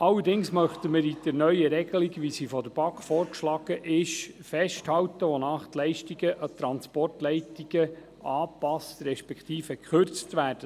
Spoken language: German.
Allerdings möchten wir an der neuen Regelung, wie sie von der BaK vorgeschlagen ist, festhalten, wonach die Leistungen an Transportleitungen angepasst respektive gekürzt werden.